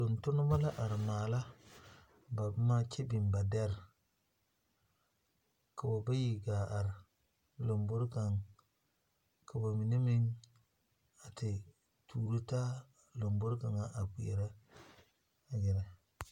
Tontonneba la are maala ba boma kyɛ biŋ ba dɛre k'o bayi gaa te are lombori kaŋa ka ba mine meŋ a te tuuro taa lombori kaŋa a kpeɛrɛ te gɛrɛ.